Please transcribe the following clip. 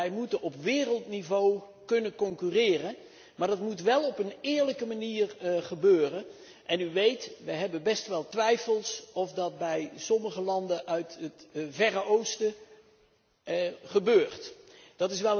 Wij moeten op wereldniveau kunnen concurreren. Maar dat moet wel op een eerlijke manier gebeuren en zoals u weet, hebben we zo onze twijfels of dat bij sommige landen uit het Verre Oosten het geval is.